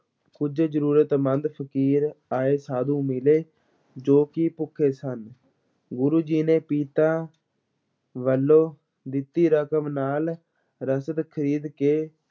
ਕੁਝ ਜ਼ਰੂਰਤਮੰਦ ਫ਼ਕੀਰ ਆਏ ਸਾਧੂ ਮਿਲੇ, ਜੋ ਕਿ ਭੁੱਖੇ ਸਨ, ਗੁਰੂ ਜੀ ਨੇ ਪਿਤਾ ਵੱਲੋਂ ਦਿੱਤੀ ਰਕਮ ਨਾਲ ਰਸਦ ਖਰੀਦ ਕੇ